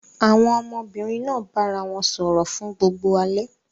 Àwọn ọmọbìnrin náà bára wọn sọ̀rọ̀ fún gbogbo alẹ́.